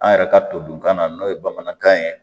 An yɛrɛ ka to dunkan na n'o ye bamanankan ye